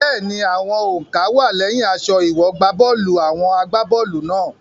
Bẹ́ẹ̀ni, àwọn òǹkà wá á lẹ́yìn aṣọ ìwọ̀gbábọ́ọ̀lù àwọn agbá bọ́ọ̀lù náà.